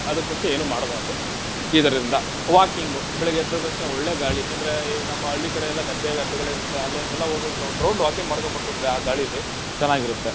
ಅದುಕ್ ಮುಂಚೆ ಏನೂ ಮಾಡಬಾರ್ದು. ಇದರಿಂದ walking ಬೆಳಗ್ಗೆದ್ದ ತಕ್ಷಣ ಒಳ್ಳೆ ಗಾಳಿ ಅಂದ್ರೆ ಈ ನಮ್ಮ ಹಳ್ಳಿ ಕಡೆಯೆಲ್ಲ ಗದ್ದೆ ಗದ್ದೆಗಳಿರತ್ತೆ, ಅಲ್ಲೆಲ್ಲಾ ಹೋಗಿ ಒಂದ್ ಒಂದ್ round walking ಮಾಡ್ಕೊಂಡ್ ಬಂತುನ್ದ್ರೆ, ಆ ಗಾಳಿಲ್ಲಿ ಚೆನಾಗಿರುತ್ತೆ.